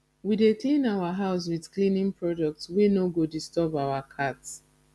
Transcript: we dey clean our house wit cleaning products wey no go disturb our cat